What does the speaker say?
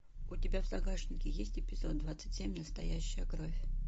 у тебя в загашнике есть эпизод двадцать семь настоящая кровь